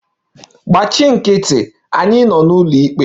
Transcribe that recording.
Gbachi nkịtị! Anyị nọ n'ụlọikpe.